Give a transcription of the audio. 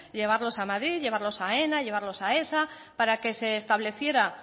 llevarlos a madrid llevarlos a aena llevarlos a aesa para que se estableciera